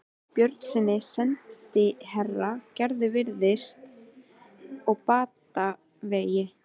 Björnssyni sendiherra: Gerður virðist á batavegi.